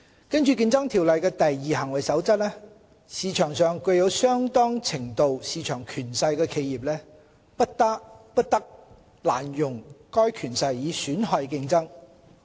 根據《競爭條例》的"第二行為守則"，市場上具有相當程度市場權勢的企業，不得濫用該權勢以損害競爭。